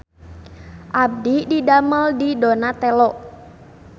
Abdi didamel di Donatello